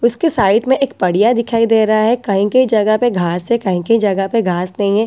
उसके साइड में एक पड़िया दिखाई दे रहा है कहीं-कहीं जगह प घास है कहीं-कहीं जगह पर घास नहीं है।